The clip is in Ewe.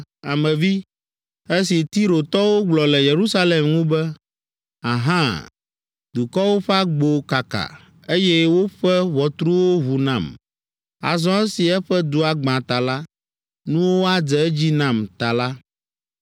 “Ame vi, esi Tirotɔwo gblɔ le Yerusalem ŋu be, ‘Ahã! Dukɔwo ƒe agbo kaka, eye woƒe ʋɔtruwo ʋu nam. Azɔ esi eƒe dua gbã ta la, nuwo adze edzi nam’ ta la,